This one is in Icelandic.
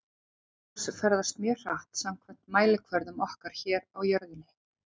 Ljós ferðast mjög hratt samkvæmt mælikvörðum okkar hér á jörðinni.